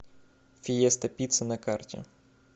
фиеста пицца на карте